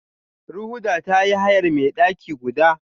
Rhoda ta yi hayar mai daki guda.